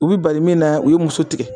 U bɛ bali min na u ye muso tigɛ